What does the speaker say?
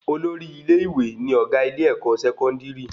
Olórí ilé-ìwé ní ọgá ilé-èkó sẹkọndiri